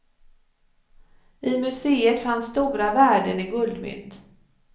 I museet fanns stora värden i guldmynt.